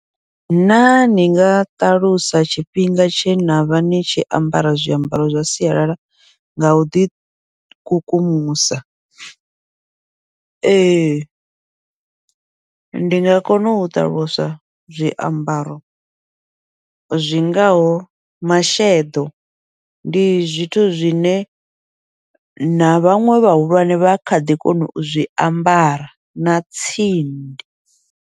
Naa ni nga ṱalusa tshifhinga tshe navha ni tshi ambara zwiambaro zwa sialala nga uḓi kukumusa, ee ndi nga kona u ṱaluswa zwiambaro zwingaho masheḓo, ndi zwithu zwine na vhaṅwe vhahulwane vha kha ḓi kona uzwi ambara na tsindi.